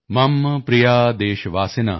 ਮਮ ਪ੍ਰਿਯਾ ਦੇਸ਼ਵਾਸਿਨ